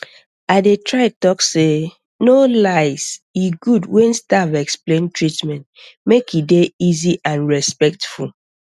i dey try talk sey no lies e good when staff explain treatment make e dey easy and respectful